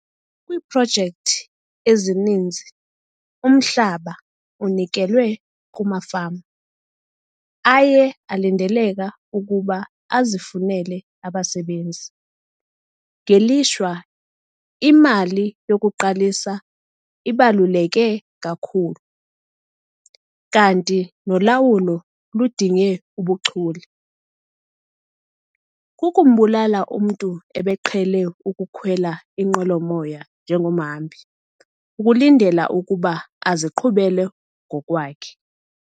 Kwiiprojekthi ezininzi umhlaba unikelwe kumafama aye alindeleka ukuba azifunele abasebenzi. Ngelishwa, imali yokuqalisa ibaluleke kakhulu, kanti nolawulo ludinge ubuchule. Kukumbulala umntu ebeqhele ukukhwela inqwelomoya njengomhambi ukulindela ukuba aziqhubele ngokwakhe.